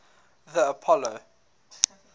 the apollo